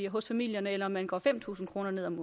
hos familierne eller man går fem tusind kroner ned om